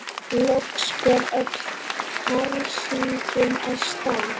Loks fer öll hersingin af stað.